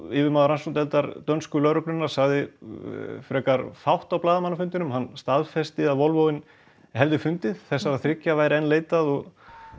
yfirmaður rannsóknardeildar dönsku lögreglunnar sagði frekar fátt á blaðamannafundinum staðfesti að Volvoinn hefði fundist þessara þriggja væri enn leitað og